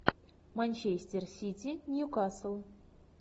манчестер сити ньюкасл